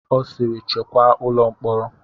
Ọ sịịrị chekwaa ụlọ mkpọrọ!